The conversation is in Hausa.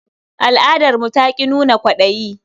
Al'adarmu ta ƙi nuna kwaɗayi.